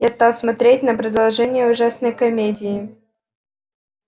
я стал смотреть на продолжение ужасной комедии